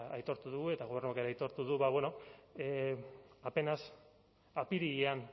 aitortu dugu eta gobernuak ere aitortu du ba bueno apenas apirilean